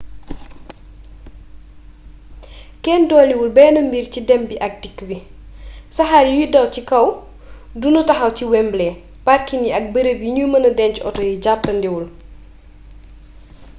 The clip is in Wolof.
kenn doliwul benn mbir ci dem bi ak dikk bi saxaar yuy daw ci kaw du nu taxaw ci wembley parking yi ak bërëb yi nu mëna denc woto yi jàppandiwul